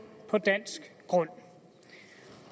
på dansk grund